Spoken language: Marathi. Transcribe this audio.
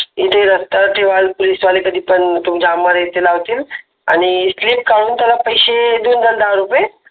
इथे पोलीस वाले कधी लावतील फ्लिप काढून टाका आणि पैसे देऊन द्या दहा रुपये